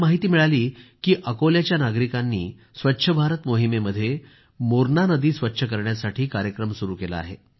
मला माहिती मिळाली की अकोल्याच्या नागरिकांनी स्वच्छ भारत मोहिमेमध्ये मोरणा नदी स्वच्छ करण्यासाठी कार्यक्रम सुरू केला आहे